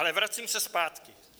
Ale vracím se zpátky.